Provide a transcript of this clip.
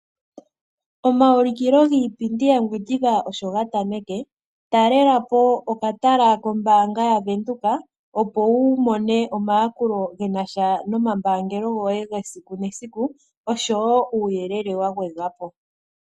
Omaulikilo giipindi yaNgwediva osho ga tameke. Talela po okatala kombaanga yaVenduka, opo wu mone omayakulo gena sha nomambaangelo goye gesiku nesiku oshowo uuyelele wa gwedhwa po.